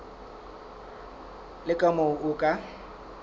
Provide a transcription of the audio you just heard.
le ka moo o ka